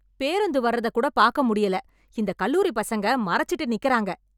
பேருந்து வர்றத கூட பாக்க முடியல, இந்த கல்லூரிப் பசங்க மறச்சுட்டு நிக்குறாங்க.